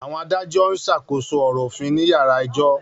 Àwọn adájọ́ ń ṣàkóso ọ̀rọ̀ òfin ní yàrá ẹjọ́